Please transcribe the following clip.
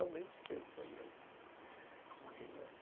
Somente eu fazia isso naquela época.